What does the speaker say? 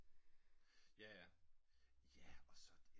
Jaja ja og så